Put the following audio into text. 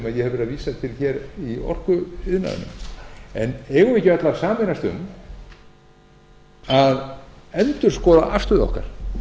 vísa til hér í orkuiðnaðinum en eigum við ekki öll að sameinast um að endurskoða afstöðu okkar